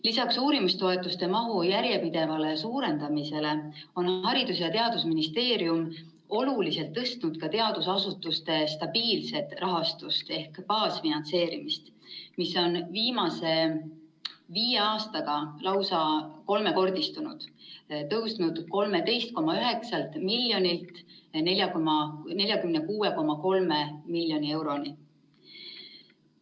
Lisaks uurimistoetuste mahu järjepidevale suurendamisele on Haridus‑ ja Teadusministeerium oluliselt tõstnud ka teadusasutuste stabiilset rahastust ehk baasfinantseerimist, mis on viimase viie aastaga lausa kolmekordistunud, tõusnud 13,9 miljonilt 46,3 miljoni euroni.